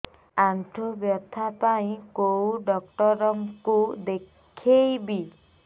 ଆଣ୍ଠୁ ବ୍ୟଥା ପାଇଁ କୋଉ ଡକ୍ଟର ଙ୍କୁ ଦେଖେଇବି